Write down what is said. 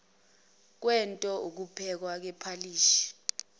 kwento ukuphekwa kwephalishi